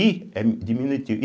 I é diminutivo.